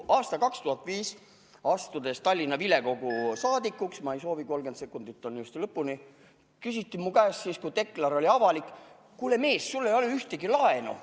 Kui ma aastal 2005 sain Tallinna vilekogu saadikuks – ma ei soovi, 30 sekundit on lõpuni –, siis küsiti mu käest, kuna deklar oli avalik: "Kuule, mees, sul ei ole ühtegi laenu.